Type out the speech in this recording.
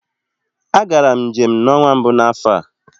A gara m njem n'ọnwa mbụ n'afọ a.